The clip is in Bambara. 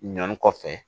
Ɲɔni kɔfɛ